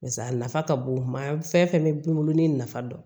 a nafa ka bon kuma fɛn fɛn bɛ bin olu ni nafa dɔn